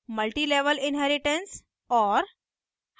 multi level inheritance और